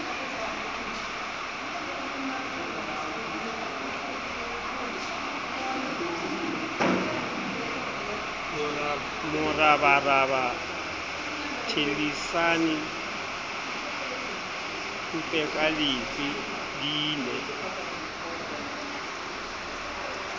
morabaraba thellisane phupekalefe di ne